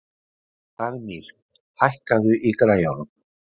Dagnýr, hækkaðu í græjunum.